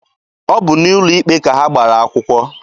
Ọ bụ n'ụlọ ikpe ka ha gbara akwụkwọ.